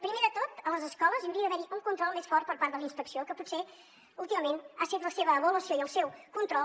primer de tot a les escoles hi hauria d’haver un control més fort per part de la inspecció que potser últimament han set la seva avaluació i el seu control